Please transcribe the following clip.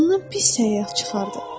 Ondan pis səyyah çıxardı.